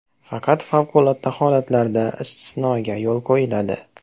Faqat favqulodda holatlarda istisnoga yo‘l qo‘yiladi.